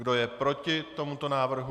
Kdo je proti tomuto návrhu?